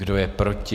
Kdo je proti?